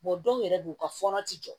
dɔw yɛrɛ don u ka fɔɔnɔ ti jɔ